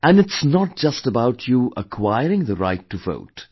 And it's not just about you acquiring the right to Vote